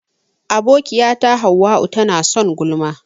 Abokiyata hauwa'u tana son gulma.